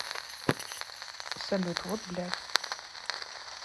салют вот блядь